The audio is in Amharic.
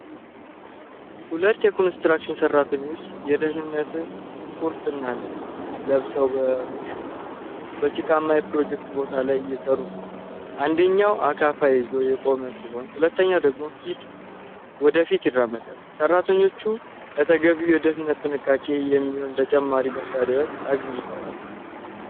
ሁለት የኮንስትራክሽን ሠራተኞች የደህንነት ቁርና ልብስ ለብሰው በጭቃማ የፕሮጀክት ቦታ ላይ እየሰሩ ነው። አንደኛው አካፋ ይዞ የቆመ ሲሆን ሁለተኛው ወደ ፊት ይራመዳል። ሠራተኞቹ ለተገቢው የደህንነት ጥንቃቄ የሚሆኑ ተጨማሪ መሣሪያዎች አግኝተዋል?